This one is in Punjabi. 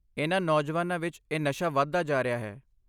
ਇਨ੍ਹਾਂ ਨੌਜਵਾਨਾਂ ਵਿੱਚ ਇਹ ਨਸ਼ਾ ਵਧਦਾ ਜਾ ਰਿਹਾ ਹੈ।